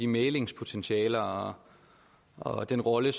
mæglingspotentiale og og den rolle